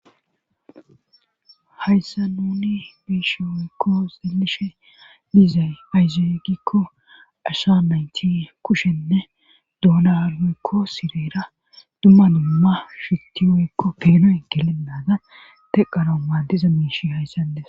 hayssa nuni biiyishin woykko xilishe dizay ayzee gikko asha nayti kushenne duunara woykko sireera dumma dumma shitti woykko peenoyn gelennaada teqara maadiza miish hayssa ndesa